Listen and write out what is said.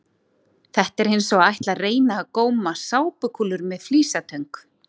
Þetta er eins og að ætla að reyna að góma sápukúlur með flísatöng!